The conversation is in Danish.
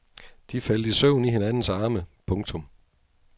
De faldt i søvn i hinandens arme. punktum